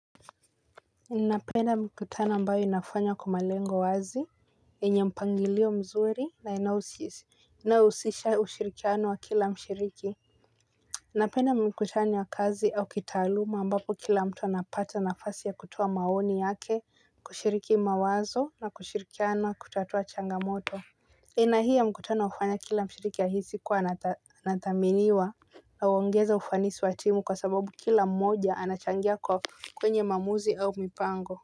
Ninapenda mkutano ambayo inafanywa kwa malengo wazi, yenye mpangilio mzuri na inayohusisha ushirikiano wa kila mshiriki napenda mikutano ya kazi au kitaaluma ambapo kila mtu anapata nafasi ya kutoa maoni yake kushiriki mawazo na kushirikiana kutatua changamoto aina hii ya mkutano hufanya kila mshiriki ahisi kuwa anathaminiwa. Na huongeza ufanisi wa timu kwa sababu kila mmoja anachangia kwa kwenye maamuzi au mipango.